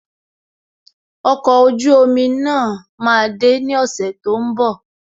Okọ̀ ojú omi náà máa de ní ọ̀sẹ̀ tó ń bọ̀